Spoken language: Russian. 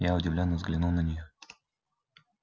я удивлённо взглянул на нее